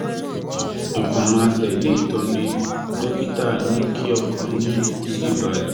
ẹ kàn máa tẹ̀lé ìtọ́ni dókítà yín kí ọkàn yín sì balẹ̀